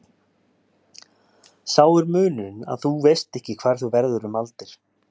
Sá er munurinn að þú veist ekki hvar þú verður um aldir.